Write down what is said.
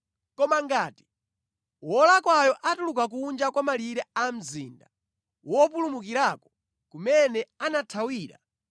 “ ‘Koma ngati wolakwayo atuluka kunja kwa malire a mzinda wopulumukirako kumene anathawira